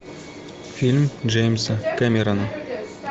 фильм джеймса кэмерона